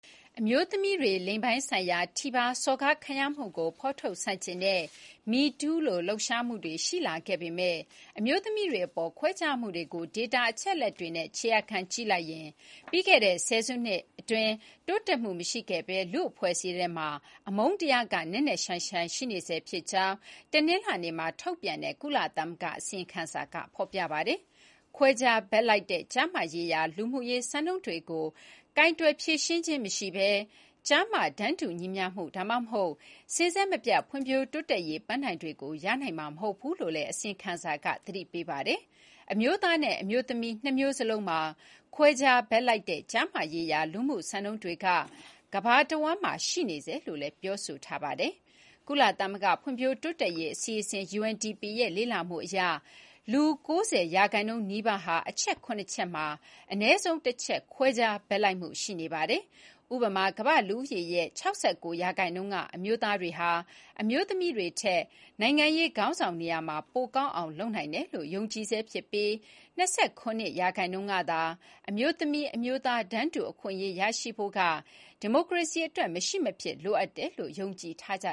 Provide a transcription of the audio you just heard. အမျိုးသမီးတွေ လိင်ပိုင်းဆိုင်ရာထိပါးစော်ကားခံရမှုကို ဖော်ထုတ်ဆန့်ကျင်တဲ့ MeToo လို လှုပ်ရှားမှုတွေ ရှိလာခဲ့ပေမယ့် အမျိုးသမီးတွေအပေါ် ခွဲခြားမှုတွေကို ဒေတာအချက်အလက်တွေနဲ့ ခြေရာခံကြည့်လိုက်ရင် ပြီးခဲ့တဲ့ဆယ်စုနှစ်အတွင်း တိုးတက်မှုမရှိခဲ့ဘဲ လူ့အဖွဲ့အစည်းထဲမှာ အမုန်းတရားက နက်နက်ရှိုင်းရှိုင်း ရှိနေဆဲဖြစ်ကြောင်း တနင်္လာနေ့မှာ ထုတ်ပြန်တဲ့ ကုလသမဂ္ဂရဲ့ အစီရင်ခံစာမှာ ဖော်ပြထားပါတယ်။ “ခွဲခြားဘက်လိုက်တဲ့ ကျားမရေးရာ လူမှုရေးစံနှုန်းတွေကို ကိုင်တွယ်ဖြေရှင်းခြင်းမရှိဘဲ၊ ကျား၊မ တန်းတူညီမျှမှု ဒါမှမဟုတ် စဉ်ဆက်မပြတ် ဖွံ့ဖြိုးတိုးတက်ရေးပန်းတိုင်တွေကို ရရှိနိုင်မှာ မဟုတ်ဘူးလို့” လည်း အစီရင်ခံစာက သတိပေးလိုက်ပါတယ်။ အမျိုးသားနဲ့ အမျိုးသမီး နှစ်မျိုးစလုံးမှာ “ခွဲခြား ဘက်လိုက်တဲ့ ကျားမရေးရာ လူမှုစံနှုန်းတွေက ကမ္ဘာတဝန်းမှာ ရှိနေဆဲလို့ ဆိုပါတယ်။ ကုလသမဂ္ဂ ဖွံ့ဖြိုးတိုးတက်ရေး အစီအစဉ် (UNDP) ရဲ့ လေ့လာမှု အရ လူ ၉၀% နီးပါးဟာ အချက် ၇ ချက် မှာ အနည်းဆုံး ၁ ချက် ခွဲခြားဘက်လိုက်မှုရှိနေပါတယ်။ ဥပမာ ကမ္ဘာ့လူဦးရေရဲ့ ၆၉% က အမျိုးသားတွေဟာ အမျိုးသမီးတွေထက် နိုင်ငံရေးခေါင်းဆောင် နေရာမှာ ပိုကောင်းအောင်လုပ်နိုင်တယ်လို့ ယုံကြည်ဆဲဖြစ်ပြီး ၂၇% ကသာ အမျိုးသမီး၊ အမျိုးသား တန်းတူအခွင့်အရေးရှိဖို့က ဒီမိုကရေစီအတွက် မရှိမဖြစ်လိုအပ်တယ်လို့ ယုံကြည်ကြ